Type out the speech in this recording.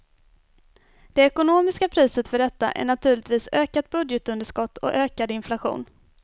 Det ekonomiska priset för detta är naturligtvis ökat budgetunderskott och ökad inflation.